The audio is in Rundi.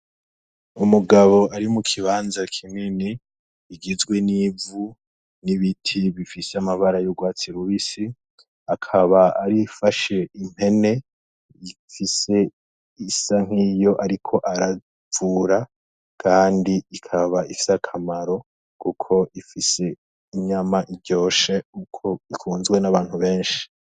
Umugabo ari mu kibanza kineni igizwe n'ivu n'ibiti bifise amabara y'urwatsi rubisi akaba arifashe impene ifise isa nk'iyo, ariko aravura, kandi ikaba ifise akamaro, kuko ifise inyama iryoshe uko ikunzwe n'abantu benshi.